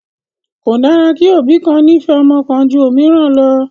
Kò dára kí òbí kan nífẹ̀ẹ́ ọmọ kan ju òmíràn lọ